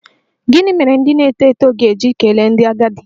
Gịnị mere ndị na-eto eto ga-eji kelee ndị agadi?